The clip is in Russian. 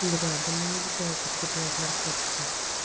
бля да мне нельзя употреблять наркотики